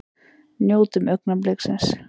Njótum augnabliksins!